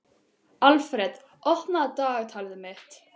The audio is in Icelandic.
Alfreð, opnaðu dagatalið mitt.